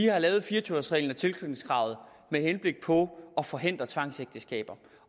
har lavet fire og tyve års reglen og tilknytningskravet med henblik på at forhindre tvangsægteskaber